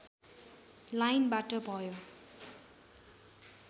लाइनबाट भयो